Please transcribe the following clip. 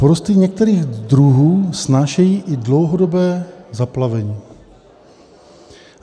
Porosty některých druhů snášejí i dlouhodobé zaplavení.